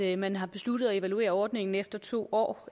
at man har besluttet at evaluere ordningen efter to år